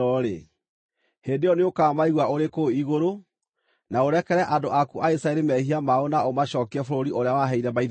hĩndĩ ĩyo nĩũkamaigua ũrĩ kũu igũrũ, na ũrekere andũ aku a Isiraeli mehia mao na ũmacookie bũrũri ũrĩa waheire maithe mao.